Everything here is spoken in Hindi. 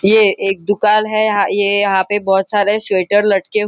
यह एक दुकान है यहाँ ये यहाँ पे बहुत सारे स्वेटर लटके--